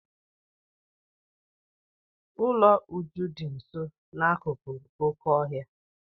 Ụlọ Uju dị nso akụkụ oké ọhịa.